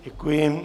Děkuji.